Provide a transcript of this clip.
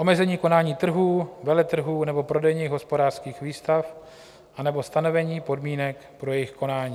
Omezení konání trhů, veletrhů nebo prodejních hospodářských výstav anebo stanovení podmínek pro jejich konání.